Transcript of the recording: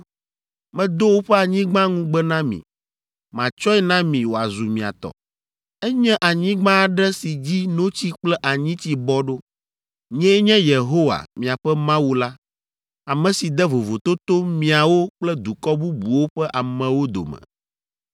Medo woƒe anyigba ŋugbe na mi. Matsɔe na mi wòazu mia tɔ. Enye anyigba aɖe si dzi notsi kple anyitsi bɔ ɖo. Nyee nye Yehowa, miaƒe Mawu la, ame si de vovototo miawo kple dukɔ bubuwo ƒe amewo dome.